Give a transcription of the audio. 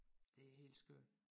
Det er helt skørt